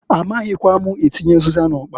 A maghikwa m atinye ụzịza n'ọkpa.